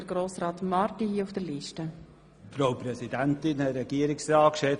Als Kallnacher möchte ich etwas sagen.